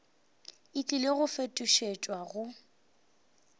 e tlile go fetošetšwa go